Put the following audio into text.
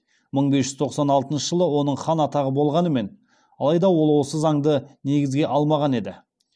мың бес жүз тоқсан алтыншы жылы оның хан атағы болғанымен алайда ол осы заңды негізге алмаған еді